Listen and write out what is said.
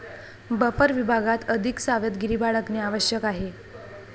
Buffer विभागात, अधिक सावधगिरी बाळगणे आवश्यक आहे.